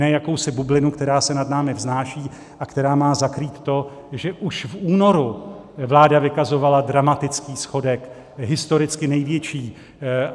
Ne jakousi bublinu, která se nad námi vznáší a která má zakrýt to, že už v únoru vláda vykazovala dramatický schodek, historicky největší.